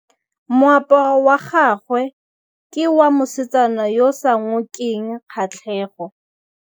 Moaparô wa gagwe ke wa mosadi yo o sa ngôkeng kgatlhegô.